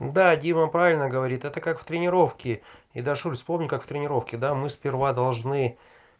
да дима правильно говорит это как в тренировке и дашуль вспомни как в тренировке да мы сперва должны